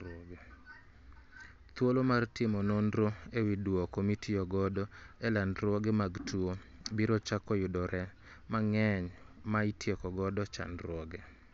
Thuolo mar timo nonro ewi dwoko mitiyo godo e landruoge mag tuo biro chako yudo yore mang'eny ma itieko god chandruoge